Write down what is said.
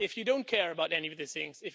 If you don't care about any of these things.